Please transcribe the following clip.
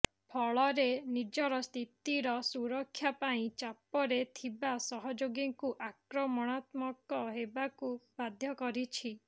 ଫଳରେ ନିଜର ସ୍ଥିତିର ସୁରକ୍ଷା ପାଇଁ ଚାପରେ ଥିବା ସହଯୋଗୀଙ୍କୁ ଆକ୍ରମଣାତ୍ମକ ହେବାକୁ ବାଧ୍ୟ କରିଛି